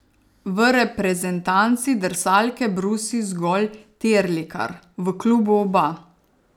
V reprezentanci drsalke brusi zgolj Terlikar, v klubu oba.